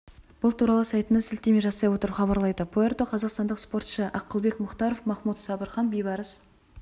бұл туралы сайтына сілтеме жасай отырып хабарлайды пуэрто қазақстандық спортшы ақылбек мұхтаров махмуд сабырхан бейбарыс